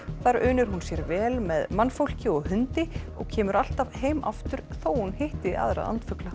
þar unir hún sér vel með mannfólki og hundi og kemur alltaf heim aftur þótt hún hitti aðra andfugla